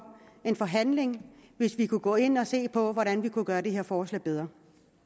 en forhandling hvis vi kunne gå ind og se på hvordan vi kunne gøre det her forslag bedre